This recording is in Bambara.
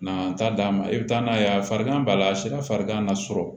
Na taa d'a ma i bɛ taa n'a ye a farigan b'a la a sera farigan ma sɔrɔ